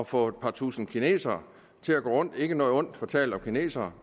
få et par tusinde kinesere til at gå rundt ikke noget ondt fortalt om kinesere